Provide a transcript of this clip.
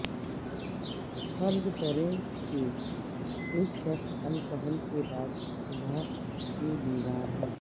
فرض کریں کہ ایک شخص الکحل کے بعد صبح کے بیمار ہو